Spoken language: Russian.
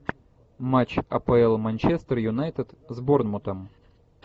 матч апл манчестер юнайтед с борнмутом